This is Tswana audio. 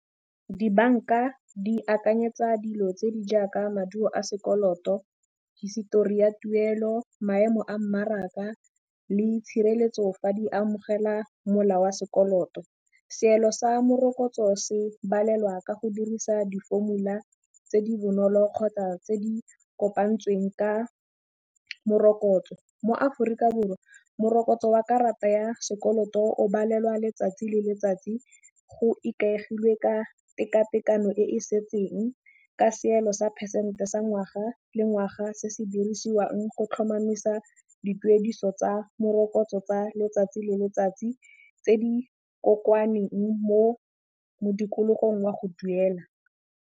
Dibanka di akanyetsa dilo tse di jaaka maduo a sekoloto, hisetori ya tuelo, maemo a mmaraka le tshireletso fa di amogela mola wa sekoloto. Seelo sa morokotso se balelwa ka go dirisa di-formula tse di bonolo kgotsa tse di kopantsweng ka morokotso. Mo Aforika Borwa morokotso wa karata ya sekoloto o balelwa letsatsi le letsatsi go ikaegilwe ka teka tekano e e setseng ka seelo sa phesente sa ngwaga le ngwaga se se dirisiwang go tlhomamisa dituediso tsa morokotso tsa letsatsi le letsatsi tse di kokoaneng mo modikologong wa go duela.